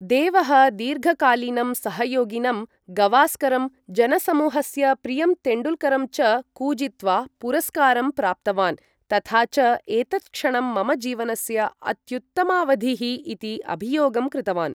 देवः दीर्घकालीनं सहयोगिनं गवास्करं, जनसमूहस्य प्रियं तेण्डुलकरं च कूजित्वा पुरस्कारं प्राप्तवान् तथा च एतत् क्षणं मम जीवनस्य अत्युत्तमावधिः इति अभियोगं कृतवान्।